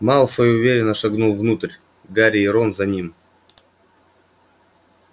малфой уверенно шагнул внутрь гарри и рон за ним